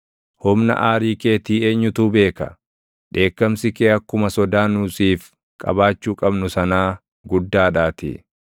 Humna aarii keetii eenyutu beeka? Dheekkamsi kee akkuma sodaa nu siif qabaachuu qabnu sanaa // guddaadhaatii.